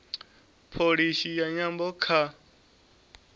pholisi ya nyambo kha